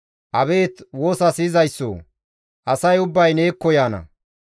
Abeet woosa siyizayssoo! Asay ubbay neekko yaana.